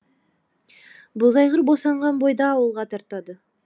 бозайғыр босанған бойда ауылға тартады